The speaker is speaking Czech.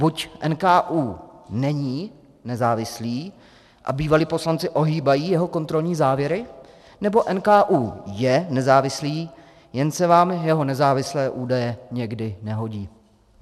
Buď NKÚ není nezávislý a bývalí poslanci ohýbají jeho kontrolní závěry, nebo NKÚ je nezávislý, jen se vám jeho nezávislé údaje někdy nehodí.